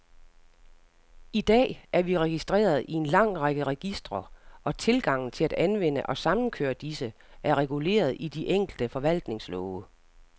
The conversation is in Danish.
I dag er vi registreret i en lang række registre, og tilgangen til at anvende og samkøre disse, er reguleret i de enkelte forvaltningslove.